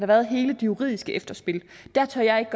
været hele det juridiske efterspil der tør jeg ikke